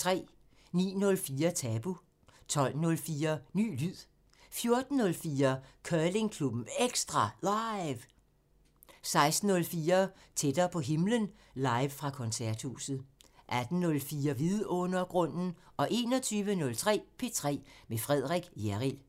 09:04: Tabu 12:04: Ny lyd 14:04: Curlingklubben EKSTRA LIVE 16:04: Tættere på himlen – live fra Koncerthuset 18:04: Vidundergrunden 21:03: P3 med Frederik Hjerrild